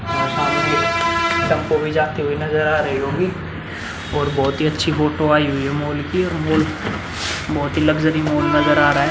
और सामने टेम्पो भी जाते हुऐ नज़र आ रही होगी और बोहोत अच्छी फोटो आयी हुई है मॉल की मॉल बहोति ही लक्ज़री मॉल नज़र आ रहा है।